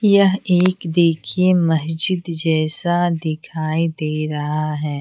यह एक देखिए मस्जिद जैसा दिखाई दे रहा हैं।